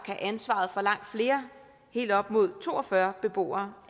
have ansvaret for langt flere helt op mod to og fyrre beboere